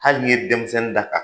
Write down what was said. Hali n'i ye denmisɛnnin da ka